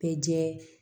Bɛɛ jɛɛ